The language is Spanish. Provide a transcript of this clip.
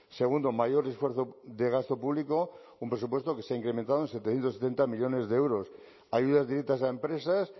segundo mayor esfuerzo de gasto público un presupuesto que se ha incrementado en setecientos setenta millónes de euros ayudas directas a empresas